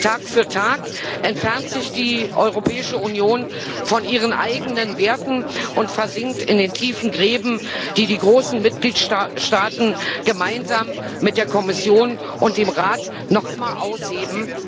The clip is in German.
Tag für Tag entfernt sich die Europäische Union von ihren eigenen Werten und versinkt in den tiefen Gräben, die die großen Mitgliedstaaten gemeinsam mit der Kommission und dem Rat noch immer ausheben.